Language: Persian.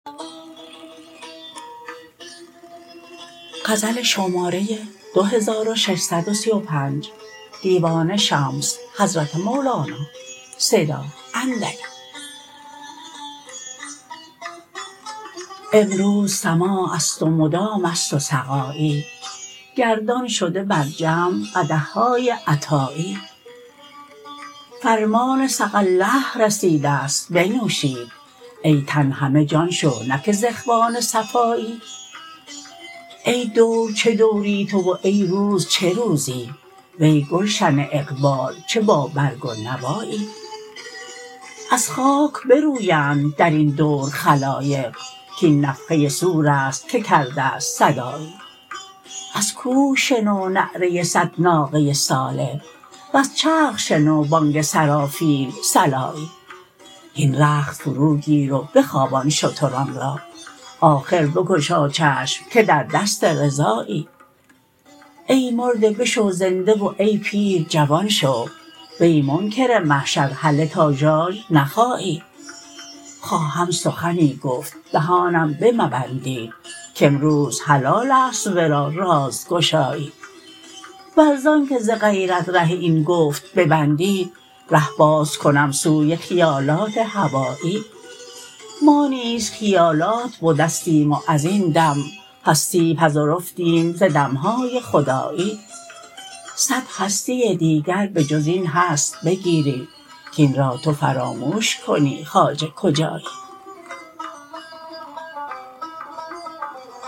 امروز سماع است و مدام است و سقایی گردان شده بر جمع قدح های عطایی فرمان سقی الله رسیده ست بنوشید ای تن همه جان شو نه که ز اخوان صفایی ای دور چه دوری تو و ای روز چه روزی وی گلشن اقبال چه بابرگ و نوایی از خاک برویند در این دور خلایق کاین نفخه صور است که کرده ست صدایی از کوه شنو نعره صد ناقه صالح وز چرخ شنو بانگ سرافیل صلایی هین رخت فروگیر و بخوابان شتران را آخر بگشا چشم که در دست رضایی ای مرده بشو زنده و ای پیر جوان شو وی منکر محشر هله تا ژاژ نخایی خواهم سخنی گفت دهانم بمبندید کامروز حلال است ورا رازگشایی ور ز آنک ز غیرت ره این گفت ببندید ره باز کنم سوی خیالات هوایی ما نیز خیالات بدستیم و از این دم هستی پذرفتیم ز دم های خدایی صد هستی دیگر به جز این هست بگیری کاین را تو فراموش کنی خواجه کجایی